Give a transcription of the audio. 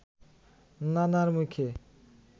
নানার মুখে